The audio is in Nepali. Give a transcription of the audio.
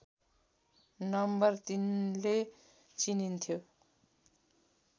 नम्बर ३ ले चिनिन्थ्यो